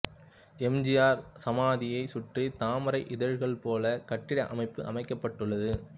M G R சமாதியைச் சுற்றி தாமரை இதழ்கள்போல கட்டிட அமைப்பு அமைக்கப்பட்டுள்ளது